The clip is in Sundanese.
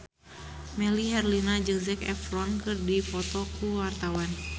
Melly Herlina jeung Zac Efron keur dipoto ku wartawan